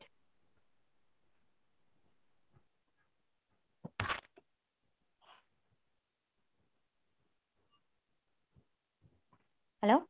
hello